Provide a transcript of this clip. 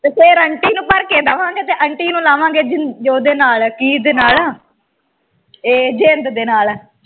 ਤੇ ਫਿਰ ਆਂਟੀ ਨੂੰ ਭਰ ਕੇ ਦਵਾਂਗੇ ਤੇ ਆਂਟੀ ਨੂੰ ਲਾਵਾਂਗੇ ਜੋਧੇ ਨਾਲ ਇਹ ਜਿੰਦ ਦੇ ਨਾਲ